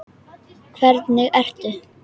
Hvernig ertu?